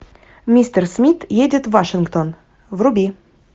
мистер смит едет в вашингтон вруби